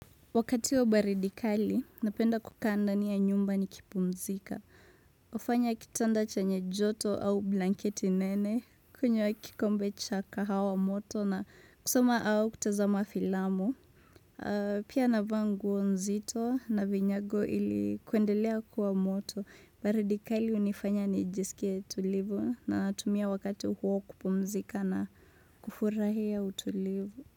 Wakati wa baridi kali, napenda kukaa ndani ya nyumba nikipumzika. Hufanya kitanda chenye joto au blanketi nene, kunywa kikombe cha kahawa moto na kusoma au kutazama filamu. Pia navaa nguo nzito na vinyago ili kuendelea kuwa moto. Baridi kali unifanya nijiskie tulivu natumia wakati huu kupumzika na kufurahia utulivu.